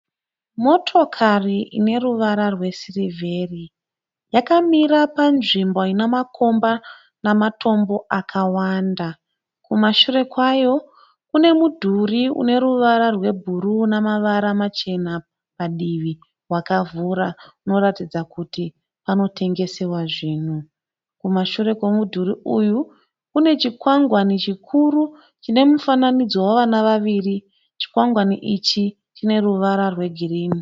Motokari ineruvara rwesirivheri. Yakamira panzvimbo ine makomba nematombo akawanda. Kumashure kwayo kune mudhuri uneruvara rwebhuruu namavara machena padivi wakavhura unoratidza kuti panotengesewa zvinhu. Kumashure kwemudhuri uyu kune chikwangwani chikuru chine mufananidzo wevana vaviri. Chikwangwani ichi chine ruvara rwegirinhi.